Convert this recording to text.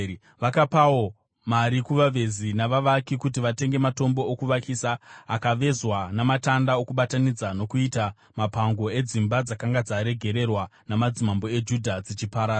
Vakapawo mari kuvavezi navavaki kuti vatenge matombo okuvakisa akavezwa namatanda okubatanidza nokuita mapango edzimba dzakanga dzaregererwa namadzimambo eJudha dzichiparara.